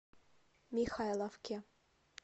михайловке